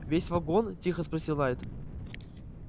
весь вагон тихо спросил найд